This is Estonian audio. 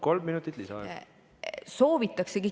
Kolm minutit lisaaega.